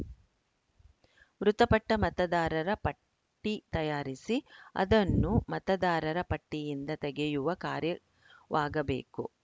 ಮೃತಪಟ್ಟ ಮತದಾರರ ಪಟ್ಟಿ ತಯಾರಿಸಿ ಅದನ್ನು ಮತದಾರರ ಪಟ್ಟಿಯಿಂದ ತೆಗೆಯುವ ಕಾರ್ಯವಾಗಬೇಕು